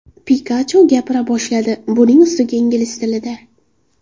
Pikachu gapira boshladi, buning ustiga ingliz tilida .